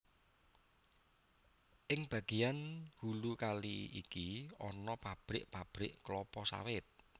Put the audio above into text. Ing bagéan hulu kali iki ana pabrik pabrik klapa sawit